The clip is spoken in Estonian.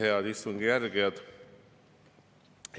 Head istungi jälgijad!